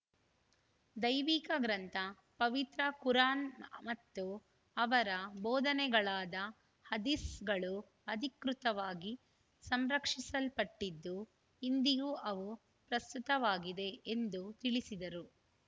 ದೈವಿಕ ಗ್ರಂಥ ಪವಿತ್ರ ಕುರ್‌ ಆನ್‌ ಮತ್ತು ಅವರ ಬೋಧನೆಗಳಾದ ಹದೀಸ್‌ಗಳು ಅಧಿಕೃತವಾಗಿ ಸಂರಕ್ಷಿಸಲ್ಪಟ್ಟಿದ್ದು ಇಂದಿಗೂ ಅವು ಪ್ರಸ್ತುತವಾಗಿದೆ ಎಂದು ತಿಳಿಸಿದರು